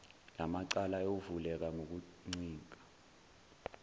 lamacala ayovuleka ngokuncika